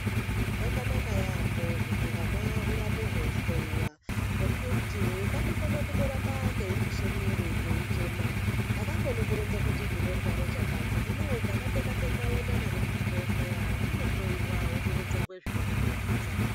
Zvakanaka yaambo kuti hwana hwurambe hwei hloyiwa ngekuti kanokone kundoramba keipisha mwiri, keichema, hakakoni kuronza kuti ndinorwara chakati. Hino ukakateka-teka weiende nako kuchibhedhlera, kanohloyiwa wotoronzerwa zvinokatambudza.